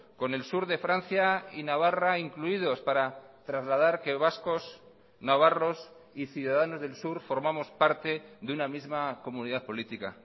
con el sur de francia y navarra incluidos para trasladar que vascos navarros y ciudadanos del sur formamos parte de una misma comunidad política